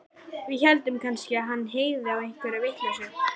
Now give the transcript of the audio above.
Við héldum kannski að hann hygði á einhverja vitleysu.